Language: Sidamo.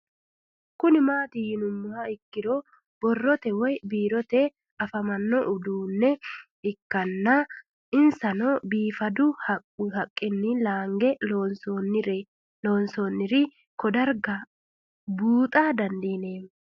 Kuni mati yinumoha ikiro boroote woyi biirote afama no udunicho ikana isino bifadu haquni Lange loonsoniri ko darga buxa dandinemo